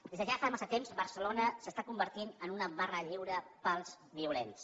des de ja fa massa temps barcelona s’està convertint en una barra lliure per als violents